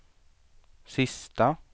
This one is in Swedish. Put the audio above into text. sista